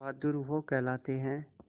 बहादुर वो कहलाते हैं